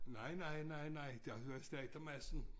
Nej nej nej nej der var slagter Madsen